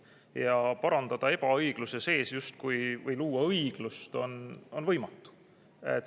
Ja justkui parandada ebaõigluse sees või luua seal õiglust on võimatu.